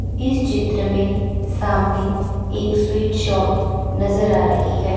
इस चित्र में सामने एक स्वीट शॉप नजर आ रही है।